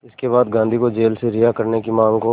इसके बाद गांधी को जेल से रिहा करने की मांग को